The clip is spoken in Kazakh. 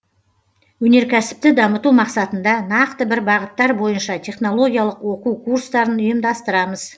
өнеркәсіпті дамыту мақсатында нақты бір бағыттар бойынша технологиялық оқу курстарын ұйымдастырамыз